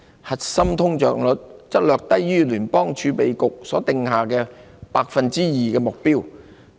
核心通脹率則略低於聯邦儲備局所訂下的 2% 目標。